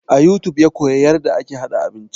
A youtube ya koya yarda ake haɗa abinci